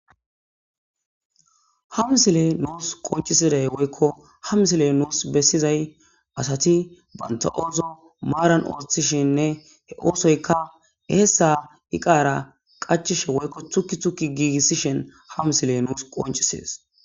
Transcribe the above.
hamsile nuus qoncisiday woykko hamsiley nuus bessizay asati banta7ozo maaran ooththishinne he oosoyka heeessa iqara qacishe woykko tukki tukki giigissishen hamsiley nuus qoncisees